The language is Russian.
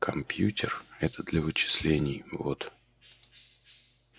компьютер это для вычислений вот